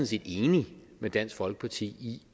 set enig med dansk folkeparti i